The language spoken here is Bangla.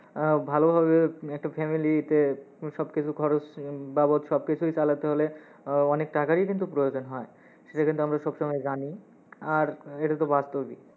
আহ ভালো ভাবে একটা family -তে সব কিছু খরচ বাবদ সব কিছুই চালাতে হলে আহ অনেক টাকারই কিন্তু প্রয়োজন হয়, সেটা কিন্তু আমরা সবসময়ই জানি। আর এটা তো বাস্তবই।